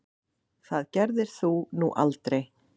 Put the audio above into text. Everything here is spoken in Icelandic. Það gerðir þú nú aldrei.